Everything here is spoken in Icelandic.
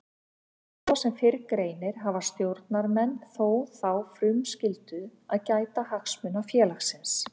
Svo sem fyrr greinir hafa stjórnarmenn þó þá frumskyldu að gæta hagsmuna félagsins.